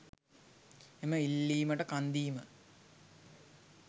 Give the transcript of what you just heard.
එම ඉල්ලීමට කන්දීම